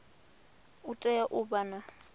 u tea u vha na